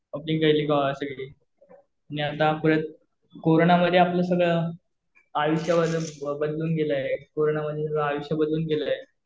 यंदा परत कोरोना मध्ये आपलं सगळं आयुष्य बदलून गेल आहे, कोरोना मध्ये आयुष्य बदलून गेलेलं आहे,